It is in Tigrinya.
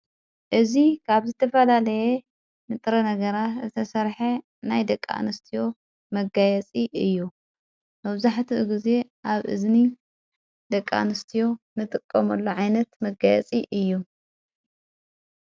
እዙ ካብ ዝተፋላለየ ንጥረ ነገራት እተሠርሐ ናይ ደቃ ንስትዮ መጋየጺ እዩ መውዙሕት ጊዜ ኣብ እዝኒ ደቃንስትዮ ንጥቆምሎ ዓይነት መጋየጺ እዩ።